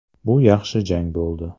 Bu yaxshi jang bo‘ldi.